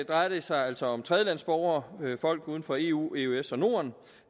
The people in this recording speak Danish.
drejer det sig altså om tredjelandsborgere folk uden for eueøs og norden